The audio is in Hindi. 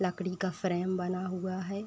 लकड़ी का फ्रेम बना हुआ है।